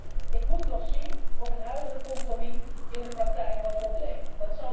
Kortom, ik moet nog zien of het huidige compromis in de praktijk wat oplevert.